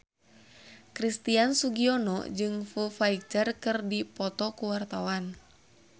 Christian Sugiono jeung Foo Fighter keur dipoto ku wartawan